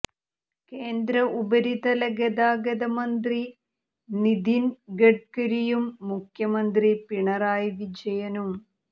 കേന്ദ്ര ഉപരിതല ഗതാഗത മന്ത്രി നിധിന് ഗഡ്കരിയും മുഖ്യമന്ത്രി പിണറായി വിജയനും